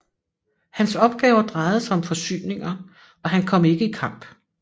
Hans opgaver drejede sig om forsyninger og han kom ikke i kamp